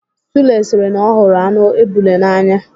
Sule sịrị na ọ hụrụ anụ ebule n'anya.